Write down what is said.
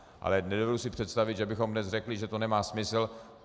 Ale nedovedu si představit, že bychom dnes řekli, že to nemá smysl.